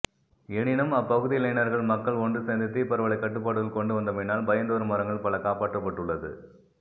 எனினும் அப்பகுதி இளைஞர்கள் மக்கள் ஒன்று சேர்ந்து தீப்பரவலைக் கட்டுப்பாட்டுக்குள் கொண்டு வந்தமையினால் பயந்தரு மரங்கள் பல காப்பாற்றப் பட்டுள்ளது